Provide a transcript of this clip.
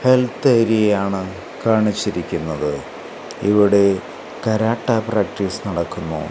Health ഏരിയയാണ് കാണിച്ചിരിക്കുന്നത് ഇവിടെ കരാട്ട പ്രാക്ടീസ് നടക്കുന്നു.